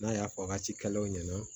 N'a y'a fɔ a ka cikɛlaw ɲɛna